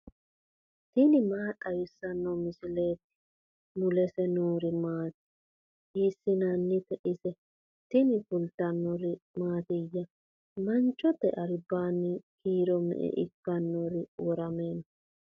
tini maa xawissanno misileeti ? mulese noori maati ? hiissinannite ise ? tini kultannori mattiya? Manchote alibaanni kiiro me'e ikkannori worame noo?